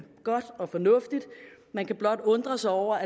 godt og fornuftigt man kan blot undre sig over